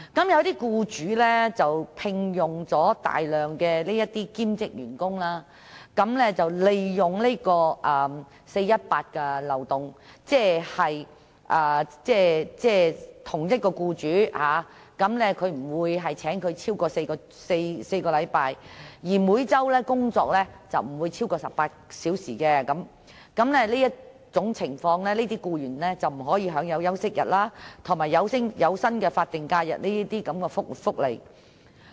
一些僱主聘用大量兼職員工，利用 "4-18" 的漏洞，即不會聘用員工超過4星期，而員工每周工作亦不會超過18小時，在這種情況下，這些僱員便不能享有休息日及有薪法定假期等福利。